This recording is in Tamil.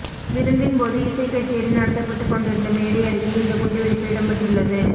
விருந்தின்போது இசைக் கச்சேரி நடத்தப்பட்டுக் கொண்டிருந்த மேடையருகே இந்த குண்டுவெடிப்பு இடம்பெற்றுள்ளது